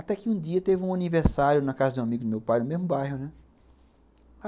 Até que um dia teve um aniversário na casa de um amigo do meu pai, no mesmo bairro, né?